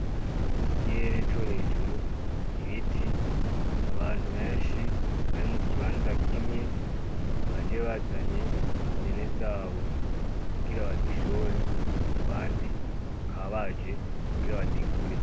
Ikirere co hejuru, ibiti abantu benshi bari mukibanza kimwe baje bazanye impene zabo kugira bazishore, abandi bakaba baje kugira bazigure.